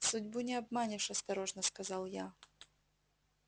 судьбу не обманешь осторожно сказал я